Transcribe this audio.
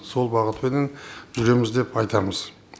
сол бағытпенен жүреміз деп айтамыз